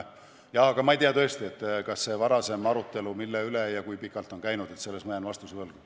Aga ma tõesti ei tea, mille üle ja kui pikalt on varem arutelu käinud, selle kohta jään vastuse võlgu.